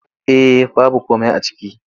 Eh baby komai a ciki.